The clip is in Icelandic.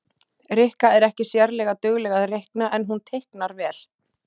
Rikka er ekki sérlega dugleg að reikna en hún teiknar vel